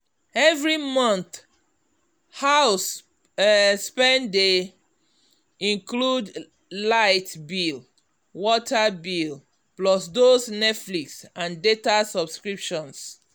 every month house um spend dey include light bill water bill plus those netflix and data subscriptions.